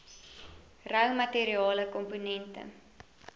rou materiale komponente